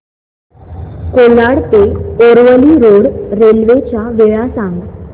कोलाड ते Aravali road railway च्या वेळा सांग